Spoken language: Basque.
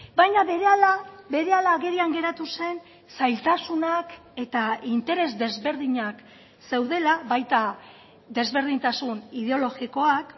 baina berehala berehala agerian geratu zen zailtasunak eta interes desberdinak zeudela baita desberdintasun ideologikoak